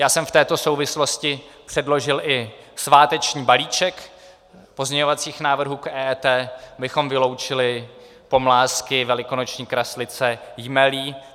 Já jsem v této souvislosti předložil i sváteční balíček pozměňovacích návrhů k EET, abychom vyloučili pomlázky, velikonoční kraslice, jmelí.